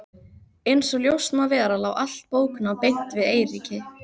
Einsog ljóst má vera lá allt bóknám beint við Eiríki.